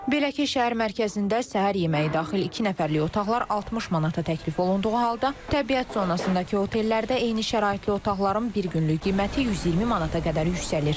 Belə ki, şəhər mərkəzində səhər yeməyi daxil iki nəfərlik otaqlar 60 manata təklif olunduğu halda, təbiət zonasındakı otellərdə eyni şəraitli otaqların bir günlük qiyməti 120 manata qədər yüksəlir.